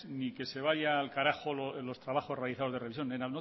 ni que se vaya al carajo los trabajos realizados de revisión no